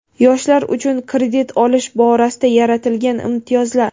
Yoshlar uchun kredit olish borasida yaratilgan imtiyozlar.